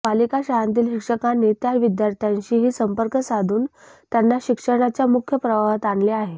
पालिका शाळांतील शिक्षकांनी त्या विद्यार्थ्यांशीही संपर्क साधून त्यांना शिक्षणाच्या मुख्य प्रवाहात आणले आहे